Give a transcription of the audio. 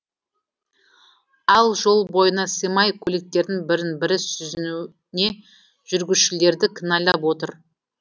ал жол бойына сыймай көліктердің бірін бірі сүзуіне жүргізушілерді кінәлап отыр